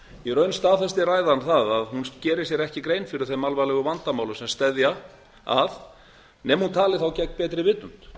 í raun staðfesti ræðan það að hún gerir sér ekki grein fyrir þeim alvarlegu vandamálum sem steðja að nema hún tali þá gegn betri vitund